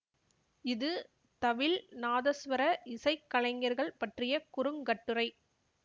இது தவில் நாதசுவர இசை கலைஞர்கள் பற்றிய குறுங்கட்டுரை